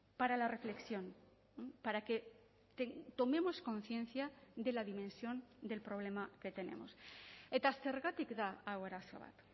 para la reflexión para que tomemos conciencia de la dimensión del problema que tenemos eta zergatik da hau arazo bat